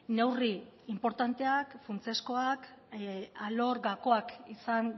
neurri inportanteak funtsezkoak alor gakoak izan